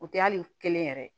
O tɛ hali kelen yɛrɛ ye